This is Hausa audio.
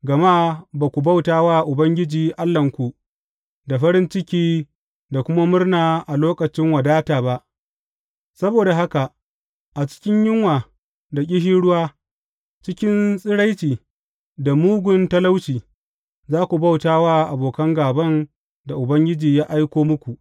Gama ba ku bauta wa Ubangiji Allahnku da farin ciki da kuma murna a lokacin wadata ba, saboda haka a cikin yunwa da ƙishirwa, cikin tsiraici da mugun talauci, za ku bauta wa abokan gāban da Ubangiji ya aiko muku.